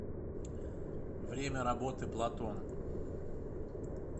время работы платон